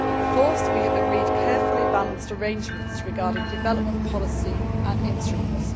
Fourth, we have agreed carefully balanced arrangements regarding development policy and instruments.